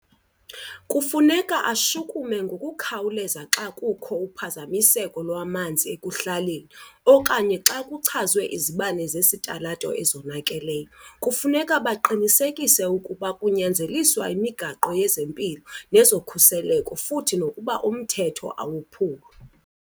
Kufuneka ashukume ngokukhawuleza xa kukho uphazamiseko lwamanzi ekuhlaleni okanye xa kuchazwe izibane zesitalato ezonakeleyo. Kufuneka baqinisekise ukuba kunyanzeliswa imigaqo yezempilo nezokhuseleko futhi nokuba umthetho awophulwa.